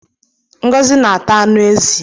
Ngozi na-ata anụ ezi.